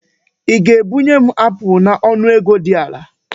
Ị ga-ebunye m apụl n'ọnụ ego dị ala?